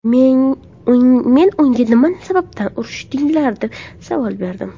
Men unga nima sababdan urushdinglar, deb savol berdim.